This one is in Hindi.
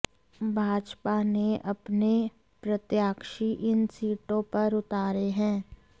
भाजपा ने अपने प्रत्याशी इन सीटों पर उतारे हैं